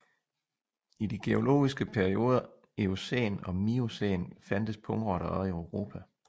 I de geologiske perioder Eocæn og Miocæn fandtes pungrotter også i Europa